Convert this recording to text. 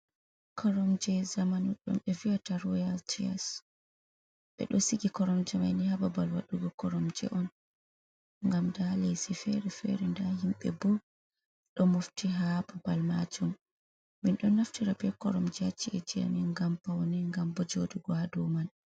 Koromje zamanu ɗum ɓe viyata royal tias, ɓeɗo sigi koromje maini ha babal waɗugo koromje on ngam nda lese fere_fere, nda himbe bo ɗo mofti ha hababal majum. Min do naftira be koromje ha ci'eji amin ngam paune, ngam bo jodugo ha dow man.